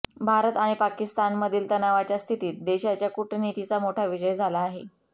भारत आणि पाकिस्तानमधील तणावाच्या स्थितीत देशाच्या कूटनीतीचा मोठा विजय झाला आहे